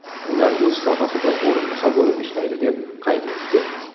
Ular o‘z sohasida o‘rinbosar bo‘lib ishlaydi”, deb qayd etdi.